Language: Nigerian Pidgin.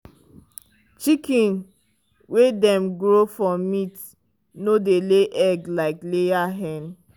chicken wey dem grow for meat no dey lay egg like layer hen.